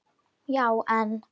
Já en.